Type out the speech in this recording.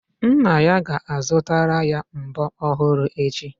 Nne ya ga-azutara ya mbọ́ ọhụrụ echi.